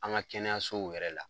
An ka kɛnɛyasow yɛrɛ la.